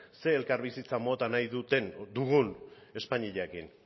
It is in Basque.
zer elkarbizitza mota nahi dugun espainiarekin